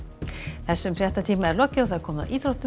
þessum fréttatíma er lokið og komið að íþróttum